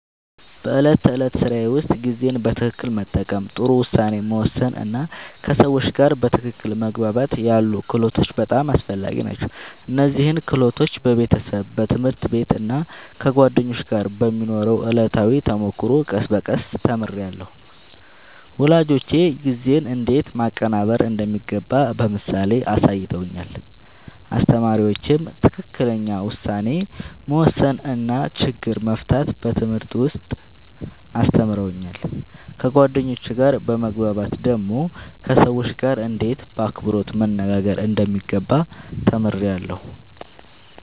በዕለት ተዕለት ሥራዬ ውስጥ ጊዜን በትክክል መጠቀም፣ ጥሩ ውሳኔ መወሰን እና ከሰዎች ጋር በትክክል መግባባት ያሉ ክህሎቶች በጣም አስፈላጊ ናቸው። እነዚህን ክህሎቶች በቤተሰብ፣ በትምህርት ቤት እና ከጓደኞች ጋር በሚኖረው ዕለታዊ ተሞክሮ ቀስ በቀስ ተምሬያለሁ። ወላጆቼ ጊዜን እንዴት ማቀናበር እንደሚገባ በምሳሌ አሳይተውኛል፣ አስተማሪዎቼም ትክክለኛ ውሳኔ መወሰን እና ችግር መፍታት በትምህርት ውስጥ አስተምረውኛል። ከጓደኞቼ ጋር በመግባባት ደግሞ ከሰዎች ጋርእንዴት በአክብሮት መነጋገር እንደሚገባ ተምሬያለሁ።